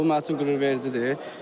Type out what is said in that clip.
Bu mənim üçün qürurvericidir.